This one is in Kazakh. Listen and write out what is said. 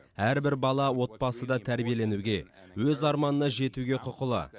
әрбір бала отбасыда тәрбиеленуге өз арманына жетуге құқылы